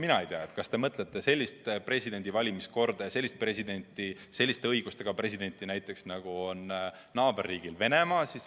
Mina ei tea, kas te mõtlete sellist presidendi valimise korda ja selliste õigustega presidenti, nagu on näiteks naaberriigil Venemaal.